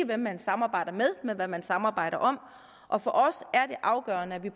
hvem man samarbejder med men hvad man samarbejder om og for os er det afgørende at vi